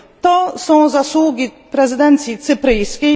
To są zasługi prezydencji cypryjskiej.